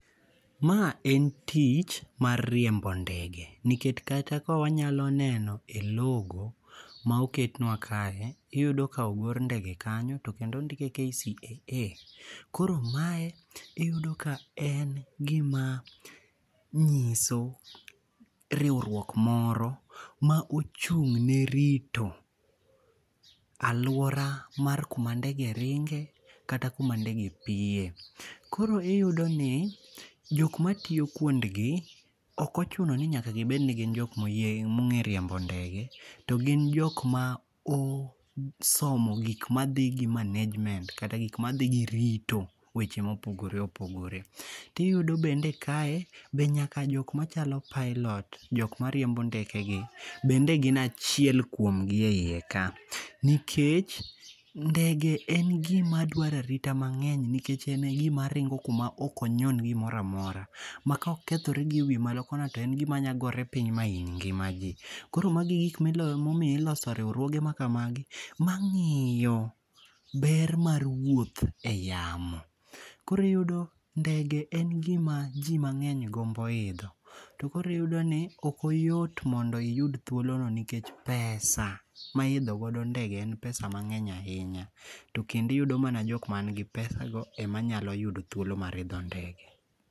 Ma en tich mar riembo ndege nikech kata ka wanyalo neno e logo ma oketnwa kae iyudo ka ogor ndege kanyo to kendo ondike KCAA. Koro mae iyudo ka en gima nyiso riwruok moro ma ochung' ne rito aluora mar kuma ndege ringe kata kuma ndege piye. Koro iyudo ni jok matiyo kuondgi ok ochuno ni nyaka gibed ni gin jok mong'e riembo ndege to gin jok ma osomo gik madhi gi management kata gik madhi gi rito weche mopogore opogore. Tiyudo bende kae be nyaka jok machalo pilot jok mariembo ndeke gi bende gi achiel kuomgi e yie ka. Nikech ndege en gima dwaro arita mang'eny nikech ene gima ringo kuma ok onyon gimoro amora. Ma ka okethore gi ewi malo kono to en gima nya gore piny mahiny ngima ji. Koro magi e gik momiyo iloso riwruoge makamagi mang'iyo ber mar wuoth e yamo. Koro iyudo ndege en gima ji mang'eny gombo idho. To koro iyudo ni ok oyot mondo iyud thuolo no nikech pesa ma i idhogodo ndege en pesa mang'eny ahinya. Tokendo iyudo mana jok man gi pesa go ema nyalo yudo thuolo mar idho ndege.